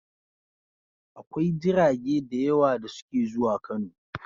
Akwai jirage da yawa da suke zuwa Kano.